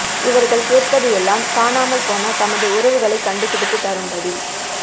இவர்கள் கேட்பது எல்லாம் காணாமல் போன தமது உறவுகளை கண்டு பிடித்து தரும்படி